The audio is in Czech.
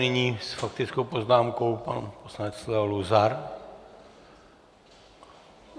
Nyní s faktickou poznámkou pan poslanec Leo Luzar.